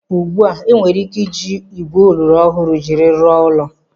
Ugbu a, enwere ike iji igwe oloro ọhụụ jiri rụọ ụlọ.